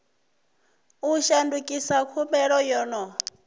u shandukisa khumbelo yo no